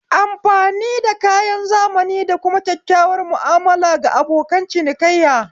Amfani da kayan zamani da kuma kyakkyawar mu'amala ga abokan cinikayya